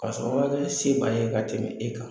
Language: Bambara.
K'a sɔrɔ wajuli se b'a ye ka tɛmɛ e kan!